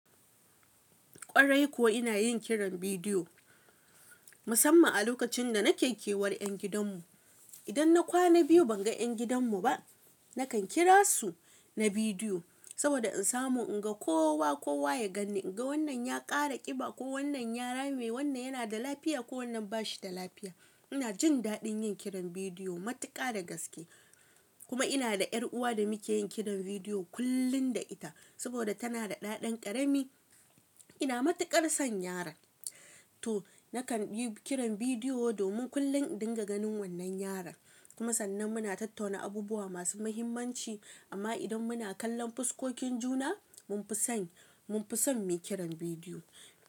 Kwarai kuwa ina yin kiran bidiyo musamman a lokacin da nake kewar ƴan gidanmu. Idan na kwana biyu ban ga ƴan gidanmu ba, nakan kira su na bidiyo saboda in samu in ga ko wa kowa ya ganni, in ga wannan ya ƙara ƙiba ko wannan ya rame, wannan yana da lafiya ko wannan ba shi da lafiya. Ina jin daɗin yin kiran bidiyo matuƙa da gaske. Kuma ina da ƴar'uwa da muke yin kiran bidiyo kullum da ita saboda tana da ɗa dan ƙarami. Ina matuƙar son yaran, to nakan yi kiran bidiyo domin kullum in dinga ganin wannan yaran. Kuma sannan muna tattauna abubuwa masu muhimmanci. Amma idan muna kallon fuskokin juna, mun fi son, mun fi son mu yi kiran bidiyo.